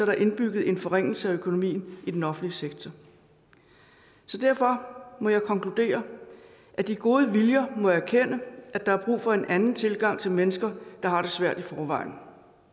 indbygget en forringelse af økonomien i den offentlige sektor derfor må jeg konkludere at de gode viljer må erkende at der er brug for en anden tilgang til mennesker der har det svært i forvejen